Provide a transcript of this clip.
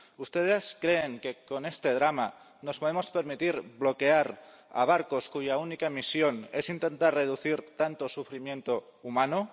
¿Ustedes creen que con este drama nos podemos permitir bloquear a barcos cuya única misión es intentar reducir tanto sufrimiento humano?